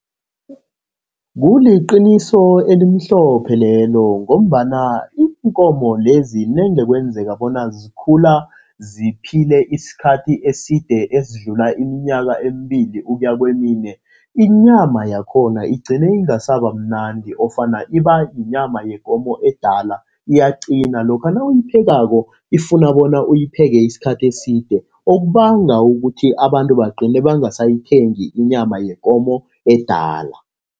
Kuliqiniso elimhlophe lelo, ngombana iinkomo lezi nange kwenzeka bona zikhula ziphile isikhathi eside, ezidlula iminyaka emibili ukuya kemine, inyama yakhona igcine ingasaba mnandi ofana iba yinyama yekomo edala, iyaqina. Lokha nawuyiphekako ifuna bona uyipheke isikhathi eside, okubanga ukuthi abantu bagcine bangasayithengi inyama yekomo edala.